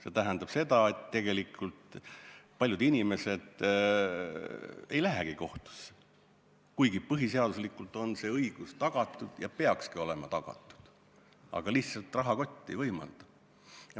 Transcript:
See tähendab seda, et tegelikult paljud inimesed ei lähegi kohtusse, kuigi põhiseaduslikult on see õigus tagatud ja peakski olema tagatud, aga lihtsalt rahakott ei võimalda.